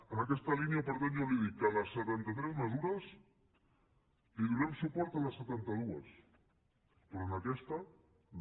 en aquesta línia per tant jo li dic que de les setantatres mesures li donem suport a les setanta dues però en aquesta no